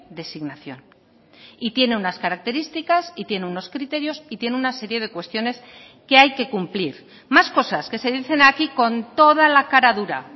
designación y tiene unas características y tiene unos criterios y tiene una serie de cuestiones que hay que cumplir más cosas que se dicen aquí con toda la cara dura